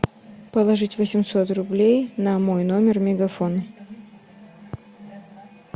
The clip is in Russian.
положить восемьсот рублей на мой номер мегафон